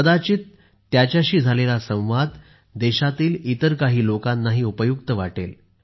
कदाचित त्यांच्याशी झालेला संवाद देशातील इतर काही लोकांनाही उपयुक्त वाटेल